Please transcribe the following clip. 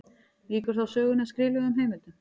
Víkur þá sögunni að skriflegum heimildum.